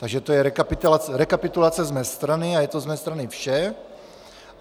Takže to je rekapitulace z mé strany a je to z mé strany vše.